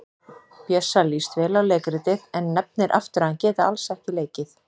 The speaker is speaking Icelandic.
Bjössa líst vel á leikritið en nefnir aftur að hann geti alls ekki leikið.